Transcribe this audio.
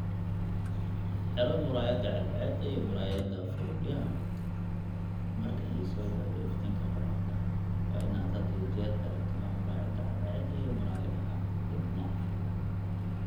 Xidho muraayada cadceeda iyo muraayada faruuryaha Marka ay soo gaadho iftiinka qoraxda, waa in aad had iyo jeer xidhataa muraayada cadceeda iyo muraayadaha dibnaha.